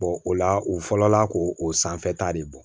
o la u fɔlɔla k'o o sanfɛta de bɔ